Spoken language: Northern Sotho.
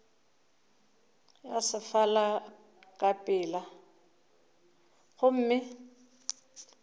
ya sefala ka pela gomme